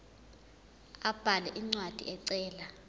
abhale incwadi ecela